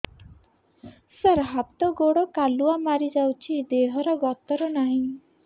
ସାର ହାତ ଗୋଡ଼ କାଲୁଆ ମାରି ଯାଉଛି ଦେହର ଗତର ନାହିଁ